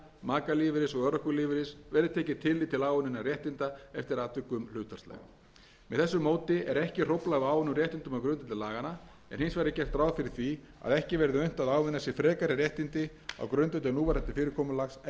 makalífeyris og örorkulífeyris verði tekið tillit til áunninna réttinda eftir atvikum hlutfallslega með þessu móti er ekki hróflað við áunnum réttindum á grundvelli laganna en hins vegar er gert ráð fyrir því að ekki verði unnt að ávinna sér frekari rétt á grundvelli núverandi fyrirkomulags eftir fyrsta júlí tvö þúsund og